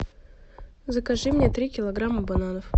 закажи мне три килограмма бананов